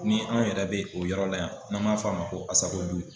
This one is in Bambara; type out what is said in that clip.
Ni an yɛrɛ bɛ o yɔrɔ la yan n'an m'a fɔ a ma ko ASACODU